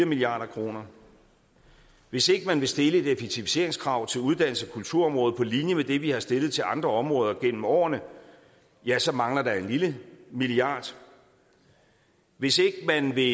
milliard kroner hvis ikke man vil stille et effektiviseringskrav til uddannelses og kulturområdet på linje med det vi har stillet til andre områder gennem årene ja så mangler der en lille milliard hvis ikke man vil